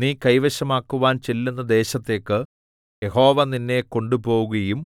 നീ കൈവശമാക്കുവാൻ ചെല്ലുന്ന ദേശത്തേക്ക് യഹോവ നിന്നെ കൊണ്ടുപോകുകയും